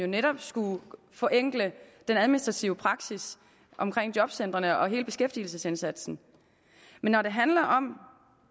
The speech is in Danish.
netop skulle forenkle den administrative praksis i jobcentrene og hele beskæftigelsesindsatsen men når det handler om